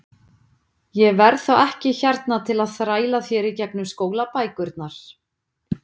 Ég verð þá ekki hérna til að þræla þér í gegnum skólabækurnar.